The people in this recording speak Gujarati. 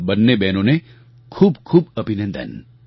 આ બંને બહેનોને ખૂબ ખૂબ અભિનંદન